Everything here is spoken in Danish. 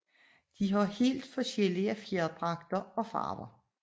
De har helt forskellige fjerdragter og farver